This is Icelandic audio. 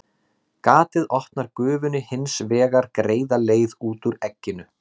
Gatið opnar gufunni hins vegar greiða leið út úr egginu.